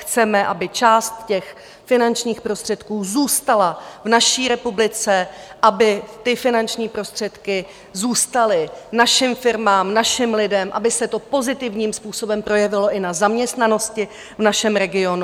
Chceme, aby část těch finančních prostředků zůstala v naší republice, aby ty finanční prostředky zůstaly našim firmám, našim lidem, aby se to pozitivním způsobem projevilo i na zaměstnanosti v našem regionu.